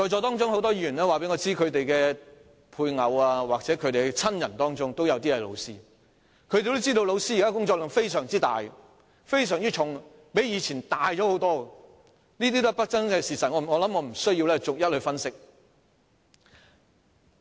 在席很多議員告訴我，他們的配偶或親人任職教師，因此也知道現時教師的工作量非常大和沉重，較過去大很多，這些都是不爭的事實，我想我無須逐一分析。